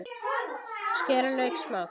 Skerið lauk smátt.